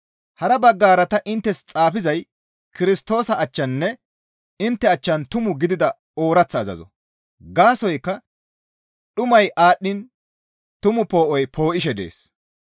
Hara baggara ta inttes xaafizay Kirstoosa achchaninne intte achchan tumu gidida ooraththa azazo; gaasoykka dhumay aadhdhiin tumu poo7oy poo7isishe dees.